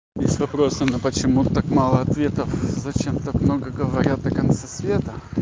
есть вопросы но почему так мало ответов зачем так много говорят о конце света